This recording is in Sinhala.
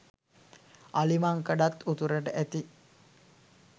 අලිමංකඩත් උතුරට ඇති